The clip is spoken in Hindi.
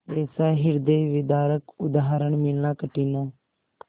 ऐसा हृदयविदारक उदाहरण मिलना कठिन है